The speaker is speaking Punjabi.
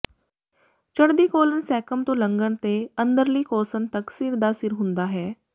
ਚੜ੍ਹਦੀ ਕੌਲਨ ਸੈਕਮ ਤੋਂ ਲੰਘਣ ਤੇ ਅੰਦਰਲੀ ਕੋਸਨ ਤੱਕ ਸਿਰ ਦਾ ਸਿਰ ਹੁੰਦਾ ਹੈ